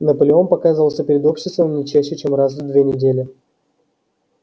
наполеон показывался перед обществом не чаще чем раз в две недели